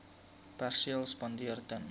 perseel spandeer ten